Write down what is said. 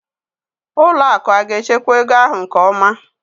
ụlọ akụ aga-echekwa ego ahụ nke ọma?